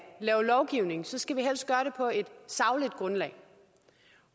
lave lovgivning skal vi helst gøre det på et sagligt grundlag